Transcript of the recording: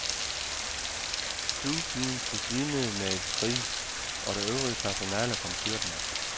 Stuepigen besvimede med et skrig, og det øvrige personale kom styrtende.